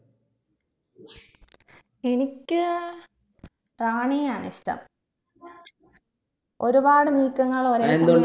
എനിക്ക് റാണിയെയാണ് ഇഷ്ടം ഒരുപാട് നീക്കങ്ങൾ ഒരേ